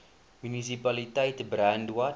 munisipaliteit brandwatch